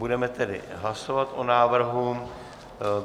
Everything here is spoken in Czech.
Budeme tedy hlasovat o návrhu.